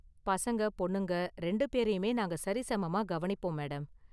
பசங்க பொண்ணுங்க ரெண்டு பேரையுமே நாங்க சரிசமமா கவனிப்போம் மேடம்.